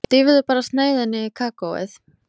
Dýfðu bara sneiðinni í kakóið.